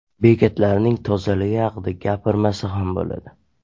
Bekatlarning tozaligi haqida gapirmasa ham bo‘ladi.